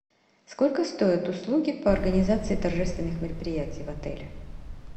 сколько стоят услуги по организации торжественных мероприятий в отеле